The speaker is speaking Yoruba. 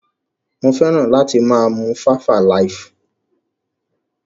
Mo feran ati maa mu 5alive.